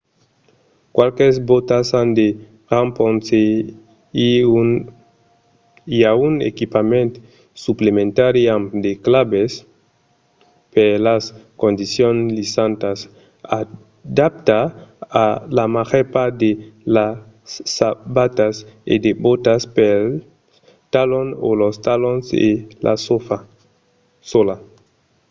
qualques bòtas an de rampons e i a un equipament suplementari amb de clavèls per las condicions lisantas adaptat a la màger part de las sabatas e de bòtas pels talons o los talons e la sòla